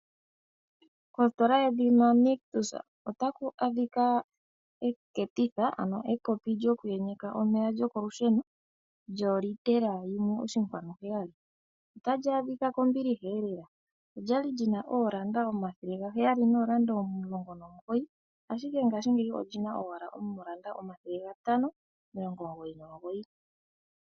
Ositola yedhina Nictus otamu adhika eketitha, ano ekopi lyoku yenyeka omeya lyokolusheno, lyo litela yimwe oshinkwanu heyali. Otali adhika kombiliha lela, olyali lina oondola omathele gaheyali noondola omulongo momugoyi, ashike mongashingeyi olina owala oondola omathele gatano, omilongo omugoyi nomugoyi.